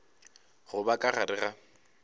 go ba ka gare ga